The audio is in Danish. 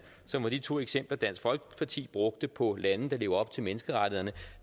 som var de to eksempler dansk folkeparti brugte på lande der lever op til menneskerettighederne